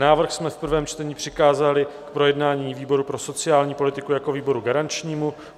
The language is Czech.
Návrh jsme v prvém čtení přikázali k projednání výboru pro sociální politiku jako výboru garančnímu.